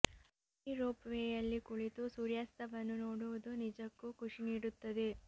ಈ ರೋಪ್ ವೇಯಲ್ಲಿ ಕುಳಿತು ಸೂರ್ಯಾಸ್ತವನ್ನು ನೋಡುವುದು ನಿಜಕ್ಕೂ ಖುಷಿ ನೀಡುತ್ತದೆ